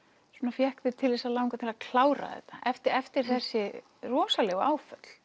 fékk þig til að langa til að klára þetta eftir eftir þessi rosalegu áföll